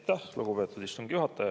Aitäh, lugupeetud istungi juhataja!